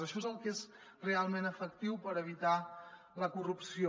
això és el que és realment efectiu per evitar la corrupció